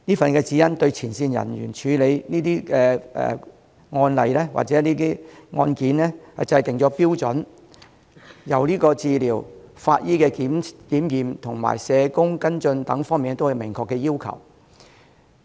這份《指引》對前線人員處理這些個案或案件制訂了標準，由治療、法醫檢驗及社工跟進等方面都有明確要求。